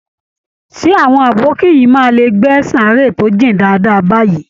Ṣé àwọn abokí yìí máa lè gbẹ́ sàáré tó jìn dáadáa báyìí?